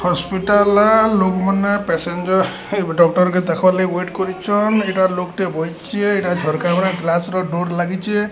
Hospital ର ଲୋକ୍ ମାନେ ପ୍ୟାସେଞ୍ଜର ହେଇବେ ଡକ୍ଟର କେ ଦେଖବାଲାଗି ୱେଟ୍ କରିଚନ୍ ଏଇଟା ଲୋକ୍ ଟେ ବଇଚି ଏଇଟା ଝରକାଗୁରା ଗ୍ଲାସ ର ଡୋର୍ ଲାଗିଛି।